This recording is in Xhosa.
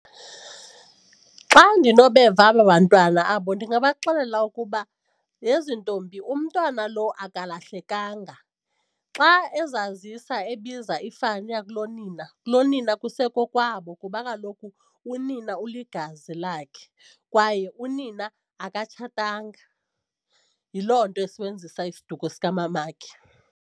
Xa ndinonobeva aba bantwana abo ndingabaxelela ukuba, yhe zintombi umntwana lo angalahlekanga. Xa ezazisa ebiza ifani yakulonina, kulonina kusekokwabo kuba kaloku unina uligazi lakhe kwaye unina akatshatanga, yiloo nto esebenzisa isiduko sikamamakhe.